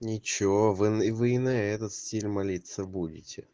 ничего вы вы и на этот стиль молиться будете